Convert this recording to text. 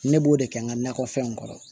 Ne b'o de kɛ n ka nakɔfɛnw kɔrɔ